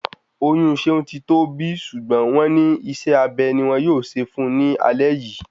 Oyún Ṣeun ti tọ́ bi ṣùgbọ́n wọ́n ní isé abe ni wọ́n yóò ṣe fún un ní alé yìí